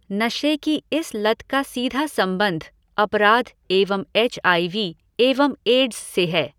नशे की इस लत का सीधा संबंध अपराध एवं एच आई वी एवं एड्स से है।